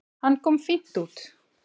Hann kom fínt út.